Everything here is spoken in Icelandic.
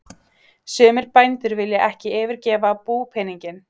Sumir bændur vilja ekki yfirgefa búpeninginn.